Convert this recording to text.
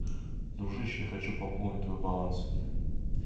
дружище я хочу пополнить твой баланс